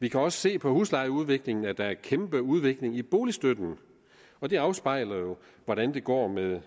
vi kan også se på huslejeudviklingen at der er kæmpe udvikling i boligstøtten og det afspejler jo hvordan det går med